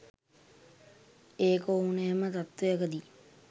ඒක ඕනෑම තත්ත්වයකදි